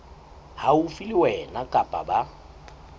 haufi le wena kapa ba